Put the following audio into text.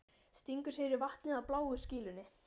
Stingur sér í vatnið á bláu skýlunni.